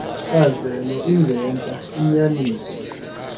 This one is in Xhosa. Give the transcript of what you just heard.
nkcazelo ingentla iyinyaniso